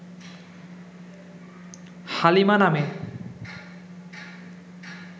হালিমা নামে